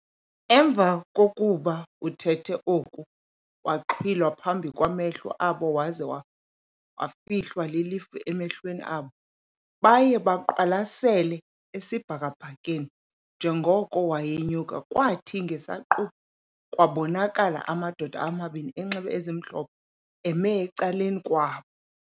Emva kokuba ethethe oku waxhwilwa phambi kwamehlo abo waze wafihlwa lilifu emehlweni abo. Baye beqwalasele esibhakabhakeni njenkoko wayenyuka, kwathi ngesiquphe kwabonakala amadoda amabini enxibe ezimhlophe eme ecaleni kwabo.